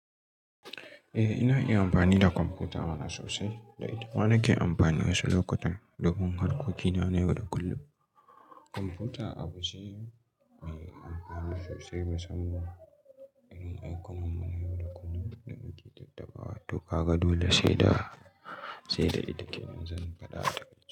Eh, ina iya amfani da kwamfuta mana sosai. Da ita mana ke amfani wasu lokutan don harkoki na na yau da kullum. Kwamfuta abu ce mai amfani sosai musamman irin aikin mu na yau da kullum da nake tattaba tuƙa ga dole sai da, sai da ita ke yanzu kada.